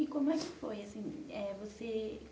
E como é que foi assim? É você